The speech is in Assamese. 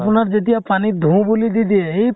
আপোনাৰ যেতিয়া পানীত ধুও বুলি দি দিয়া হেই